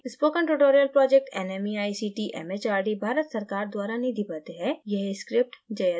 spoken tutorial project nmeict mhrd Bharat सरकार द्वारा निधिबद्ध है